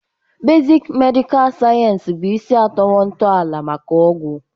Bezịk medịkal sayensị bụ isi atọwo ntọala maka ọgwụ.